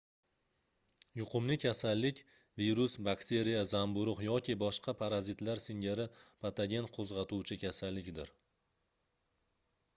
yuqumli kasallik virus bakteriya zamburugʻ yoki boshqa parazitlar singari patogen qoʻzgʻatuvchi kasallikdir